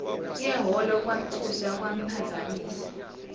yehholo kwamthusa kwamphazamisa